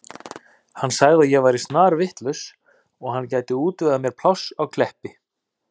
Hann sagði að ég væri snarvitlaus og hann gæti útvegað mér pláss á Kleppi.